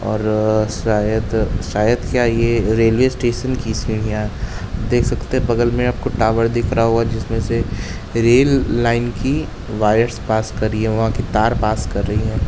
और शायद शायद क्या यह रेलवे स्टेशन की सीढ़ियाँ। देख सकते हैं बगल में आप को टावर दिख रहा होगा जिसमें से रेल लाइन की वायर्स पास कर रही है। वहाँ के तार पास कर रही है।